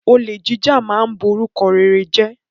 Olè jíjà ma ń borúkọ rere jẹ́.